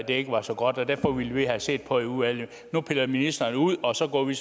ikke var så godt derfor ville vi have set på det i udvalget nu piller ministeren det ud og så går vi